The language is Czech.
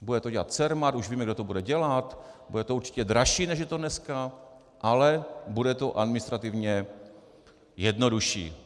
Bude to dělat CERMAT, už víme, kdo to bude dělat, bude to určitě dražší, než je to dneska, ale bude to administrativně jednodušší.